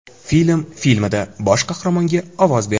Film” filmida bosh qahramonga ovoz berdi.